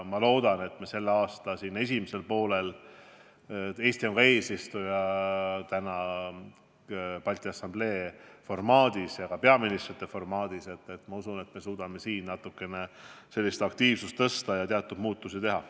Ma loodan, et me selle aasta esimesel poolel – Eesti on täna eesistuja Balti Assambleel ja ka Peaministrite Nõukogus – suudame selles asjas natukene aktiivsust suurendada ja teatud muutusi teha.